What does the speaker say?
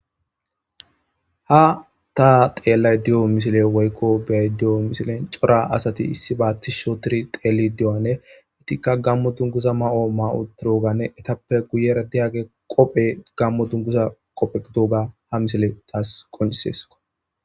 Ha ta xeellay di'o misile woykko beay di'o misilen coora asati issiba tishi othidi xeeli di'anne itikka gamo dunguza mayo ma'wu turoganne etappe guye diyaageti qophe gamo duniguza qophe gidooga ha misile taas qoniseso.